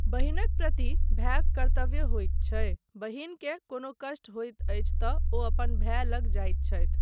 बहिनक प्रति भायक कर्त्तव्य होइत छै, बहिनकेँ कोनो कष्ट होइत अछि तँ ओ अपन भाय लग जाइत छथि।